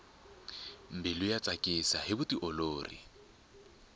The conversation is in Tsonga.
mbilu yi tsakisa hi vutiolori